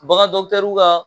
Bagan ka